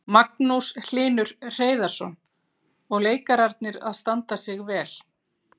Magnús Hlynur Hreiðarsson: Og leikararnir að standa sig vel?